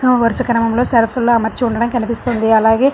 ఆ వరుస క్రమంలో సరుకులు అమర్చి ఉండడం కనిపిస్తుంది. అలాగే --